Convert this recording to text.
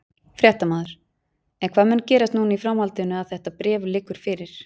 Fréttamaður: En hvað mun gerast núna í framhaldinu að þetta bréf liggur fyrir?